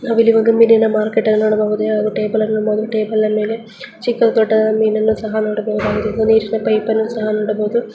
ನಾವಿಲ್ಲಿ ಒಂದು ಮೀನಿನ ಮಾರ್ಕೆಟ್ ಅನ್ನು ನೋಡಬಹುದು ಹಾಗು ಟೇಬಲ್ ಅನ್ನು ನೋಡಬಹುದು ಹಾಗು ಟೇಬಲ್ನ ಮೇಲೆ ಚಿಕ್ಕದು ದೊಡ್ಡದಾದ ಮೀನನ್ನು ಸಹ ನೋಡಬಹುದು ನೀರಿನ ಪೈಪ್ ಅನ್ನು ನೋಡಬಹುದು .